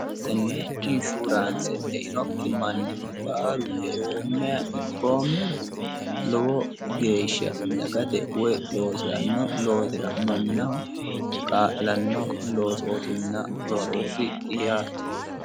tenne inshuuraanse einokki manni baalu eoommeha ikkoommero lowo geeshsha dagate woyi loosiranno loosira mannaho kaa'lanno loosootinna rosooti yaate.